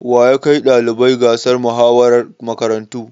Wa ya kai ɗalibai gasar muhawarar makarantu?